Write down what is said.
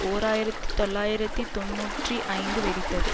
ஓர் ஆயிரத்தி தொள்ளாயிரத்தி தொன்னூற்றி ஐந்து வெடித்தது